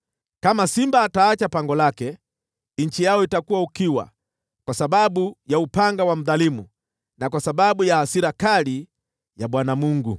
Kama simba ataacha pango lake, nchi yao itakuwa ukiwa kwa sababu ya upanga wa mdhalimu, na kwa sababu ya hasira kali ya Bwana Mungu.